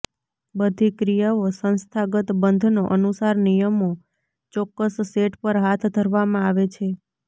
બધી ક્રિયાઓ સંસ્થાગત બંધનો અનુસાર નિયમો ચોક્કસ સેટ પર હાથ ધરવામાં આવે છે